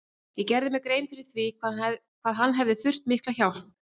Ég gerði mér grein fyrir því hvað hann hefði þurft mikla hjálp.